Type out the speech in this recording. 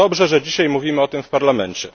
Dobrze, że dzisiaj mówimy o tym w Parlamencie.